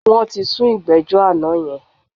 Wọ́n ti sún ìgbẹ́jọ́ àná yẹn.